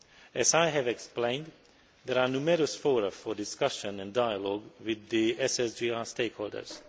As I have explained, there are numerous fora for discussion and dialogue with the SSGI stakeholders.